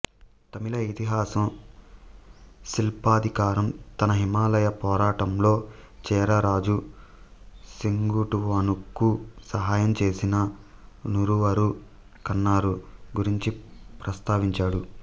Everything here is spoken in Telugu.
తమిళ ఇతిహాసం సిలప్పదికారం తన హిమాలయ పోరాటంలో చేరా రాజు సెంగుట్టువనుకు సహాయం చేసిన నూరువరు కన్నారు గురించి ప్రస్తావించాడు